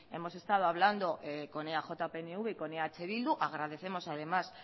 hemos estado hablando con eaj pnv y con eh bildu agradecemos además